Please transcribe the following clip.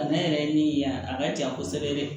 Bana yɛrɛ ye min ye yan a ka jan kosɛbɛ dɛ